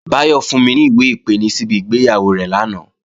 Báyọ̀ fún mi ní ìwé-ìpeni síbi ìgbéyàwó rẹ̀ lánàá